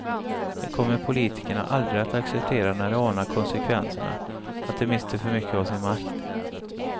Det kommer politikerna aldrig att acceptera när de anar konsekvenserna; att de mister för mycket av sin makt.